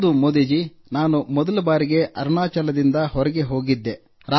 ಹೌದು ನಾನು ಮೊದಲ ಬಾರಿಗೆ ಅರುಣಾಚಲದಿಂದ ಹೊರಗೆ ಹೋಗಿದ್ದೆ